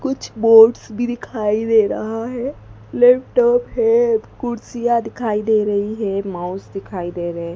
कुछ बोर्ड्स भी दिखाई दे रहा है लैपटॉप है कुर्सियां दिखाई दे रही हैं माउस दिखाई दे रहे।